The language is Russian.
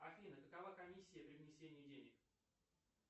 афина какова комиссия при внесении денег